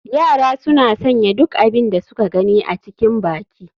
Yara suna sanya duk abin da suka gani a cikin baki.